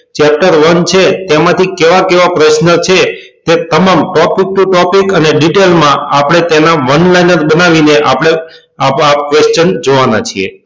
chapter one છે તેમાં થી કેવા કેવા પ્રશ્ન છે એ તમામ topic to topic અને detail માં આપડે તેના one liner બનાવી ને આપડે આપો આપ questions જોવાના છીએ